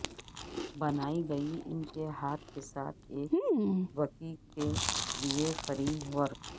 بنائی گئی ان کے ہاتھ کے ساتھ ایک بکی کے لئے فریم ورک